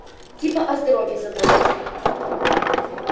типа о здоровье заботятся